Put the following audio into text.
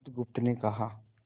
बुधगुप्त ने कहा